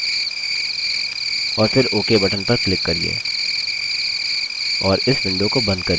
और फिर ok button पर click करिये और इस window को बंद करिये